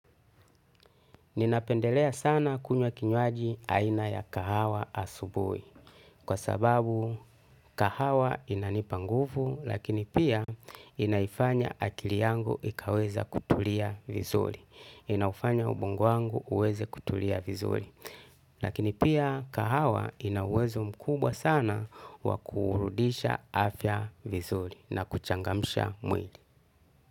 Ninapendelea sana kunywa kinywaji aina ya kahawa asubui. Kwa sababu kahawa inanipanguvu lakini pia inaifanya akili yangu ikaweza kutulia vizuri. Inaufanya ubongo wangu uweze kutulia vizuri. Lakini pia kahawa inauwezo mkubwa sana wakuurudisha afya vizuri na kuchangamsha mwili.